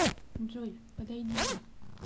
джой подойдите